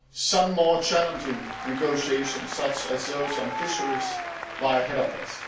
Some more challenging negotiations, such as those on fisheries, lie ahead of us.